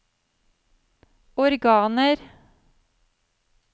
organer